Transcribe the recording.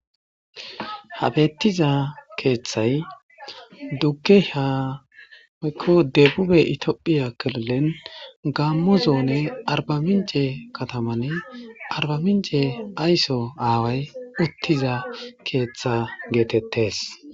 Ha bettiza keeththay dugge ha yku deebube itiophiya kirilen gaammo zoone arbaminje katamanne arbaminje aysso aaway uttiza keeththa geetettes